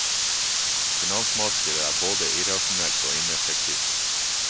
Finansmarkedet er både irrasjonelt og ineffektivt.